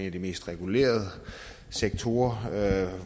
af de mest regulerede sektorer og